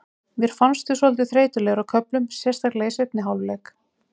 Mér fannst við svolítið þreytulegir á köflum, sérstaklega í seinni hálfleik.